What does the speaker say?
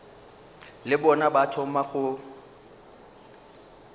le bona ba thoma go